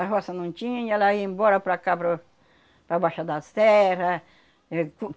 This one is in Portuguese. A roça não tinha ela ia embora para cá para o, para baixa da serra. Éh,